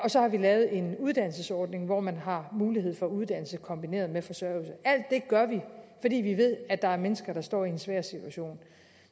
så har vi lavet en uddannelsesordning hvor man har mulighed for uddannelse kombineret med forsørgelse alt det gør vi fordi vi ved at der er mennesker der står i en svær situation